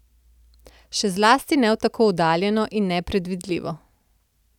Še zlasti ne v tako oddaljeno in nepredvidljivo.